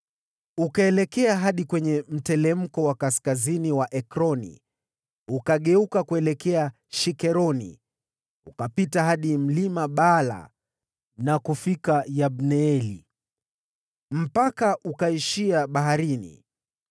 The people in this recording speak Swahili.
Ukaelekea hadi kwenye mteremko wa kaskazini mwa Ekroni, ukageuka kuelekea Shikeroni, ukapita hadi Mlima Baala na kufika Yabineeli. Mpaka ule ukaishia baharini.